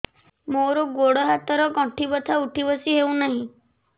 ମୋର ଗୋଡ଼ ହାତ ର ଗଣ୍ଠି ବଥା ଉଠି ବସି ହେଉନାହିଁ